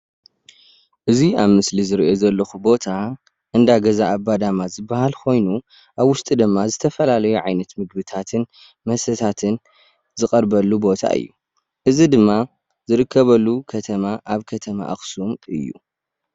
እዚ ኣብ ምስሊ ዝሪኦ ዘለኩ ቦታ እንዳ ገዛ ኣባዳማ ዝባሃል ኮይኑ ኣብ ውሽጡ ድማ ዝተፈላለዩ ዓይነት ምግብታትን መስተታትን ዝቀርበሉ ቦታ እዩ። እዚ ድማ ዝርከበሉ ከተማ ኣብ ከተማ ኣክሱም እዩ፡፡